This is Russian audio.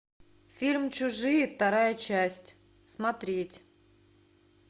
фильм чужие вторая часть смотреть